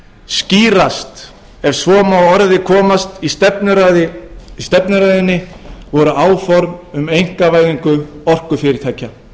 skýrast ef svo má að orði komast í stefnuræðunni voru áform um einkavæðingu orkufyrirtækjanna